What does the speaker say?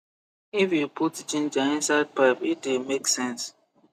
if you put ginger inside pap e the make sense